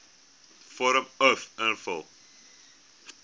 vorm uf invul